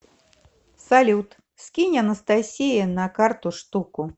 салют скинь анастасие на карту штуку